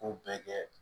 Ko bɛɛ kɛ